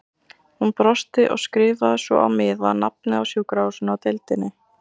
Hún brosti og skrifaði svo á miða nafnið á sjúkrahúsinu og deildinni.